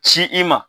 Ci i ma